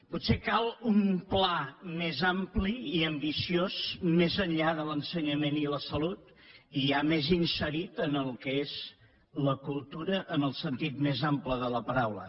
potser cal un pla més ampli i ambiciós més enllà de l’ensenyament i la salut i ja més inserit en el que és la cultura en el sentit més ample de la paraula